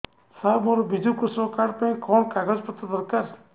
ସାର ମୋର ବିଜୁ କୃଷକ କାର୍ଡ ପାଇଁ କଣ କାଗଜ ପତ୍ର ଦରକାର